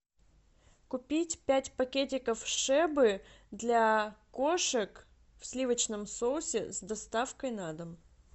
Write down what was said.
купить пять пакетиков шебы для кошек в сливочном соусе с доставкой на дом